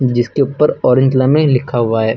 जिसके ऊपर orange line में लिखा हुआ है।